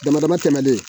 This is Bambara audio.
Dama dama tɛmɛlen